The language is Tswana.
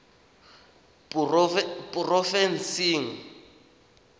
porofensing